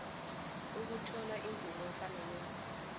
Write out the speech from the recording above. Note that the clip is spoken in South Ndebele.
kokuthola imvumo efaneleko